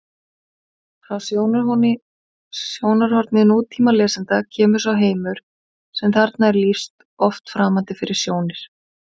Frá sjónarhorni nútímalesanda kemur sá heimur sem þarna er lýst oft framandi fyrir sjónir: